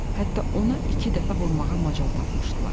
Hətta ona iki dəfə vurmağa macal tapmışdılar.